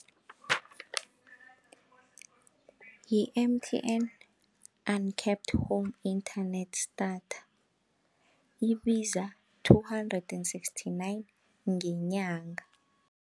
Yi-M_T_N uncapped home internet starter libiza-two hundred and sixty-nine ngenyanga.